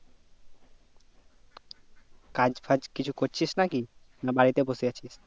কাজ ফাজ কিছু করছিস না কি না বাড়ি তে বসে আছিস